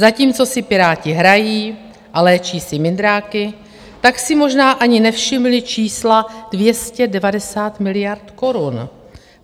Zatímco si Piráti hrají a léčí si mindráky, tak si možná ani nevšimli čísla 290 miliard korun.